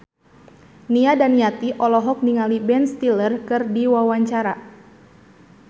Nia Daniati olohok ningali Ben Stiller keur diwawancara